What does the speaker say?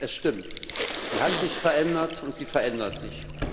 Es stimmt, sie hat sich verändert, und sie verändert sich.